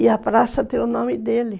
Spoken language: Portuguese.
E a praça tem o nome dele.